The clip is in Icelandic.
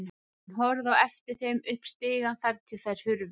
Hann horfði á eftir þeim upp stigann þar til þær hurfu.